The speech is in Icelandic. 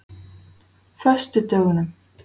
föstudögunum